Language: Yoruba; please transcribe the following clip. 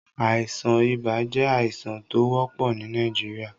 Àìsàn ìbà jẹ̀ àìsàn tó wọ́pọ̀ ni Nàìjíríà.